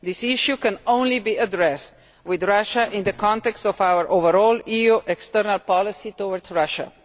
This issue can only be addressed with Russia in the context of our overall EU external policy towards Russia.